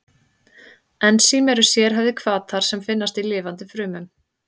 Ensím eru sérhæfðir hvatar sem finnast í lifandi frumum.